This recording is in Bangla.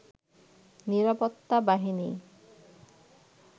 নিরাপত্তা বাহিনী